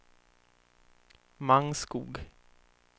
Mangskog